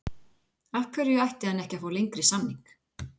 Af hverju ætti hann ekki að fá lengri samning?